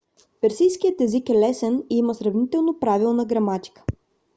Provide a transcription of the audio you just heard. персийският език е лесен и има сравнително правилна граматика